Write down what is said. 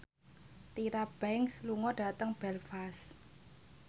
Tyra Banks lunga dhateng Belfast